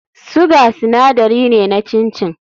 Sugar sinadari ne na chin chin.